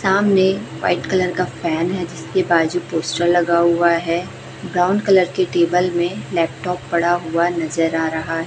सामने white colour का fan हैं जिसके बाजू पोस्टर लगा हुआ हैं ब्राउन कलर के टेबल में लॅपटॉप पड़ा हुआ नजर आ रहा--